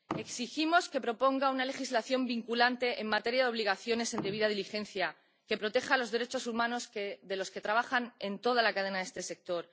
Exigimos que proponga una legislación vinculante en materia de obligaciones en debida diligencia, que proteja los derechos humanos de los que trabajan en toda la cadena de este sector.